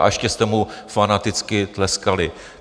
A ještě jste mu fanaticky tleskali.